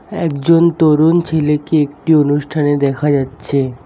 একজন তরুণ ছেলেকে একটি অনুষ্ঠানে দেখা যাচ্ছে।